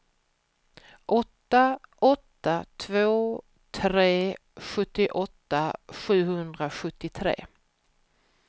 åtta åtta två tre sjuttioåtta sjuhundrasjuttiotre